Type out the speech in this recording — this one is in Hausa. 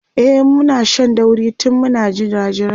e Muna Shan dauri tun Muna jirajirai